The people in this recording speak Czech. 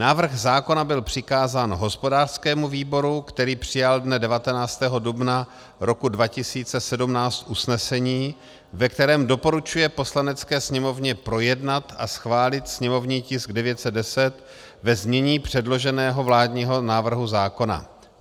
Návrh zákona byl přikázán hospodářskému výboru, který přijal dne 19. dubna roku 2017 usnesení, ve kterém doporučuje Poslanecké sněmovně projednat a schválit sněmovní tisk 910 ve znění předloženého vládního návrhu zákona.